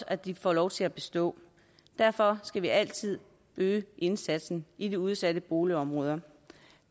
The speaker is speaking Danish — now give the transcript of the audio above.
at de får lov til at bestå derfor skal vi altid øge indsatsen i de udsatte boligområder